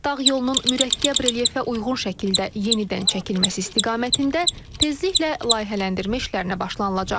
Dağ yolunun mürəkkəb relyefə uyğun şəkildə yenidən çəkilməsi istiqamətində tezliklə layihələndirmə işlərinə başlanılacaq.